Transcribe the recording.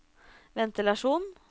ventilasjon